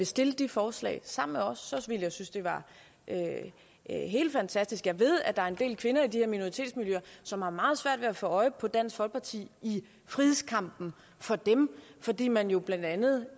stille de forslag sammen med os ville jeg synes det var helt fantastisk jeg ved der er en del kvinder i de her minoritetsmiljøer som har meget svært ved at få øje på dansk folkeparti i frihedskampen for dem fordi man jo blandt andet